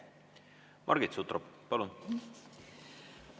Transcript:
Margit Sutrop, palun!